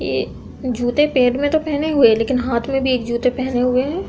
ये जूते पैर में तो पहने हुए हैं लेकिन हाथ में भी एक जूते पहने हुए हैं।